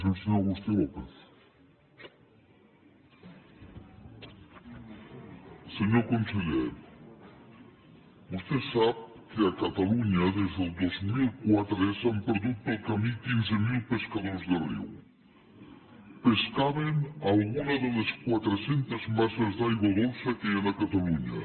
senyor conseller vostè sap que a catalunya des del dos mil quatre s’han perdut pel camí quinze mil pescadors de riu pescaven a alguna de les quatre centes de les masses d’aigua dolça que hi han a catalunya